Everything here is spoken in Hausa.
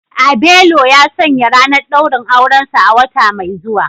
Abelo ya sanya ranar daurin aurensa a wata mai zuwa